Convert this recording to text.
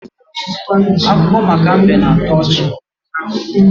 Akụkọ maka mbe na-atọ ọchị.